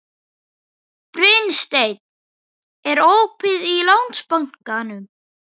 Brynsteinn, er opið í Landsbankanum?